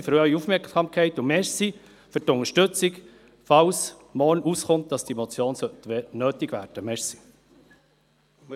Ich danke für Ihre Aufmerksamkeit und danke für die Unterstützung, falls morgen herauskommt, dass diese Motion nötig werden sollte.